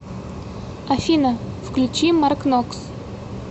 афина включи маркнокс